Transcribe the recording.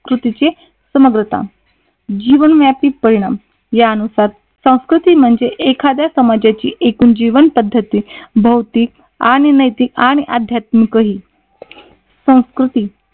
कृतीची समग्रता जीवनव्यापी परिणाम नुसार संस्कृती त म्हणजे एखाद्या समाजाची जीवन पद्धती भौतिक आणि नैतिक आणि आध्यात्मिकही संस्कृती